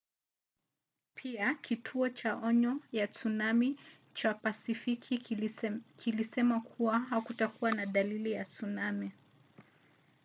pia kituo cha onyo ya tsunami cha pasifiki kilisema kuwa hakukuwa na dalili ya tsunami